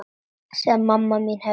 Sem mamma mín hefði bakað.